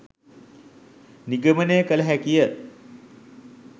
නිගමනය කළ හැකිය